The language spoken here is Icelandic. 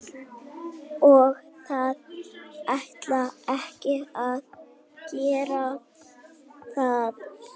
Og það ætti ekki að gera það.